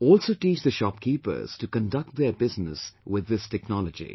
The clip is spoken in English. Also teach the shopkeepers to conduct their business with this technology